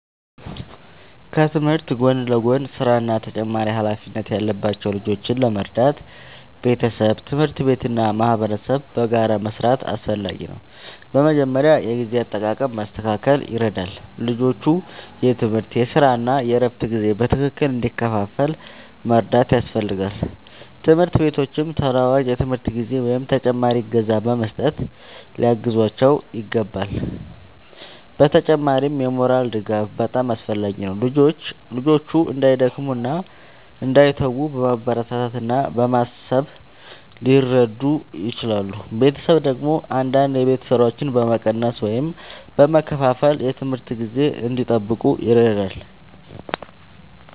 ከትምህርት ጎን ለጎን ሥራ እና ተጨማሪ ኃላፊነት ያለባቸው ልጆችን ለመርዳት ቤተሰብ፣ ትምህርት ቤት እና ማህበረሰብ በጋራ መስራት አስፈላጊ ነው። በመጀመሪያ የጊዜ አጠቃቀም ማስተካከል ይረዳል፤ ልጆቹ የትምህርት፣ የሥራ እና የእረፍት ጊዜ በትክክል እንዲከፋፈል መርዳት ያስፈልጋል። ትምህርት ቤቶችም ተለዋዋጭ የትምህርት ጊዜ ወይም ተጨማሪ እገዛ በመስጠት ሊያግዟቸው ይችላሉ። በተጨማሪም የሞራል ድጋፍ በጣም አስፈላጊ ነው፤ ልጆቹ እንዳይደክሙ እና እንዳይተዉ በማበረታታት እና በማሳሰብ ሊረዱ ይችላሉ። ቤተሰብ ደግሞ አንዳንድ የቤት ሥራዎችን በመቀነስ ወይም በመከፋፈል የትምህርት ጊዜ እንዲጠብቁ ይረዳል።